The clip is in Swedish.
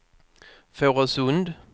Fårösund